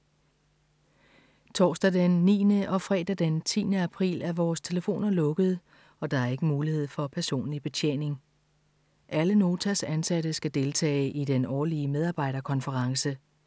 Torsdag den 9. og fredag den 10. april er vores telefoner lukkede og der er ikke mulighed for personlig betjening. Alle Notas ansatte skal deltage i den årlige medarbejderkonference.